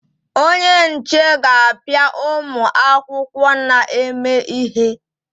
Onye nche ga-apịa ụmụ akwụkwọ na-eme ihe.